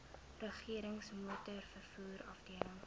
regerings motorvervoer afdeling